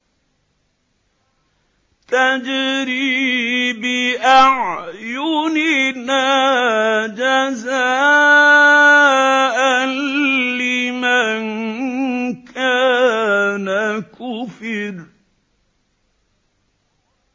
تَجْرِي بِأَعْيُنِنَا جَزَاءً لِّمَن كَانَ كُفِرَ